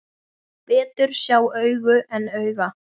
Betur sjá augu en auga.